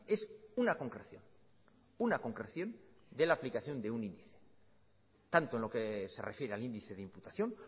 es una concreción una concreción de la aplicación de un índice tanto en lo que se refiere al índice de imputación